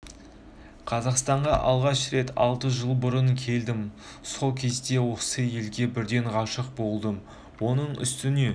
қазақстанға алғаш рет алты жыл бұрын келдім сол кезде осы елге бірден ғашық болдым оның үстіне